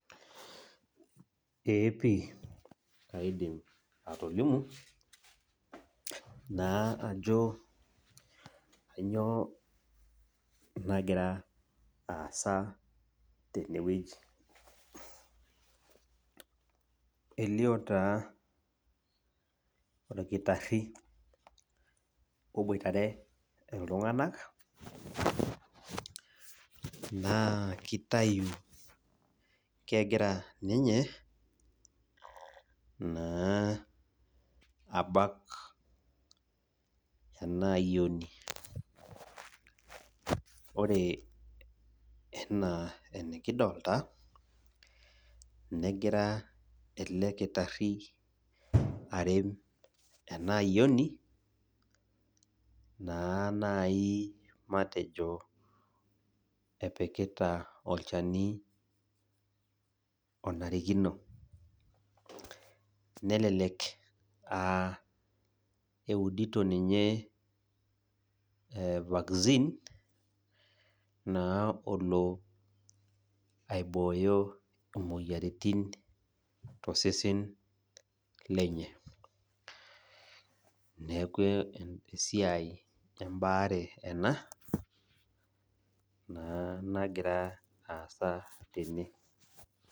Eepi aidim atolimu ajo kainyio nagira aasa tenewueji . Elio orkitari ogira aboitare iltunganak naa kitayu ninye kegira abak enayioni. Ore enaa enikidolita naa kegira elekitari abak enayioni naa matejo olchani onarikino nelelek aa eudito ninye vaccine naa olo aibooyo imoyiaritin tosesen lenye . Neku esiai embaare naa nagira aasa tene.